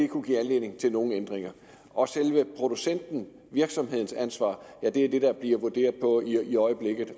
kunne give anledning til nogen ændringer og selve producentens virksomhedens ansvar er det der bliver vurderet på i øjeblikket